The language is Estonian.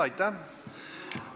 Aitäh!